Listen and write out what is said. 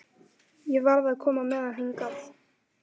Ég varð að koma með hann hingað.